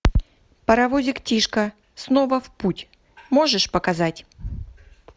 паровозик тишка снова в путь можешь показать